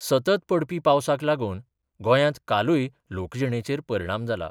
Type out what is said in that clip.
सतत पडपी पावसाक लागून गोंयांत कालूय लोकजिणेचेर परिणाम जाला.